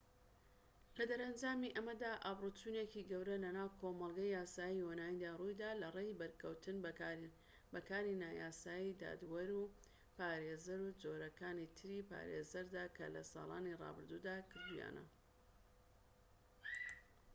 لەدەرەنجامی ئەمەدا ئابروچوونێکی گەورە لەناو کۆمەڵگەی یاسایی یۆنانیدا ڕوویدا لەڕێی بەرکەوتن بە کاری نایاسایی دادوەر و پارێزەر و جۆرەکانی تری پارێزەردا کە لە ساڵانی رابردوودا کردوویانە